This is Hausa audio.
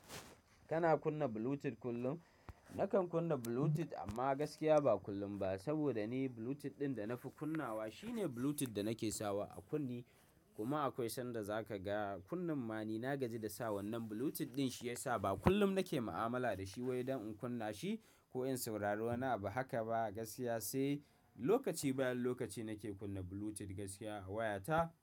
Kana kunna Bluetooth kullum? Nakan kunna Bluetooth amma gaskiya ba kullum ba, saboda ni Bluetooth ɗin da na fi kunnawa shi ne Bluetooth da nake sawa a kunne, kuma akwai sanda za ka ga kunnun ma ni na gaji da sa wannan Bluetooth ɗin shi ya sa ba kullum nake ma'amala da shi wai don in kunna shi, ko in saurari wani abu haka ba gaskiya sai, lokaci bayan lokaci nake kunna Bluetooth gaskiya a wayata.